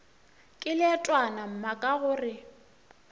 ke leetwana mma ka gore